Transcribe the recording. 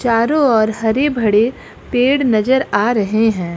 चारो ओर हरे भड़े पेड़ नजर आ रहे हैं।